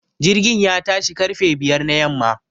Jirgin ya tashi ƙarfe biyar na yamma